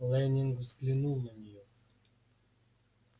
лэннинг взглянул на неё